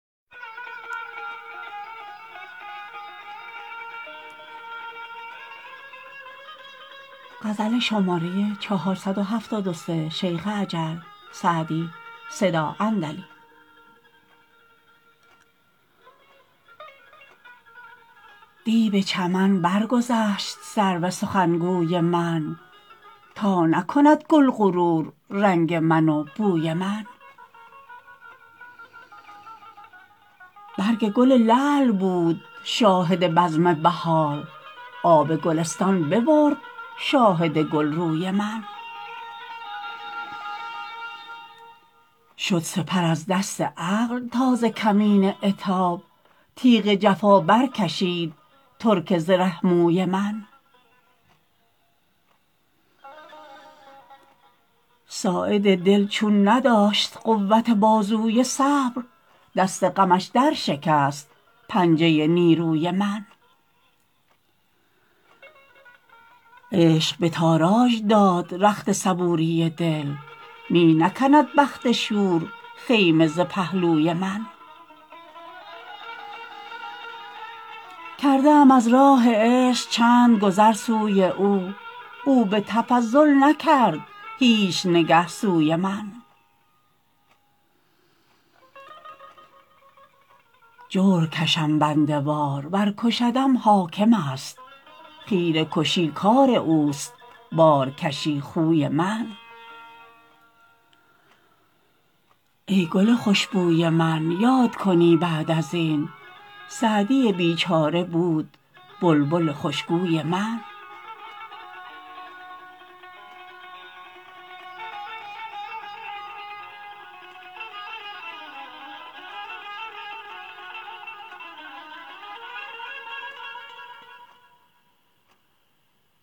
دی به چمن برگذشت سرو سخنگوی من تا نکند گل غرور رنگ من و بوی من برگ گل لعل بود شاهد بزم بهار آب گلستان ببرد شاهد گلروی من شد سپر از دست عقل تا ز کمین عتاب تیغ جفا برکشید ترک زره موی من ساعد دل چون نداشت قوت بازوی صبر دست غمش درشکست پنجه نیروی من عشق به تاراج داد رخت صبوری دل می نکند بخت شور خیمه ز پهلوی من کرده ام از راه عشق چند گذر سوی او او به تفضل نکرد هیچ نگه سوی من جور کشم بنده وار ور کشدم حاکم است خیره کشی کار اوست بارکشی خوی من ای گل خوش بوی من یاد کنی بعد از این سعدی بیچاره بود بلبل خوشگوی من